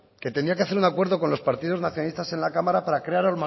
que tenía que hacer un acuerdo con los partidos nacionalistas en la cámara para crear